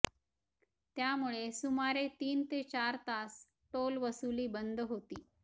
त्यामुळे सुमारे तीन ते चार तास टोल वसुली बंद होती